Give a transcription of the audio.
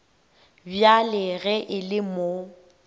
bjale ge e le mo